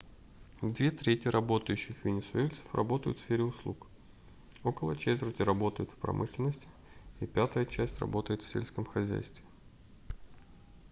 две трети работающих венесуэльцев работают в сфере услуг около четверти работают в промышленности и пятая часть работает в сельском хозяйстве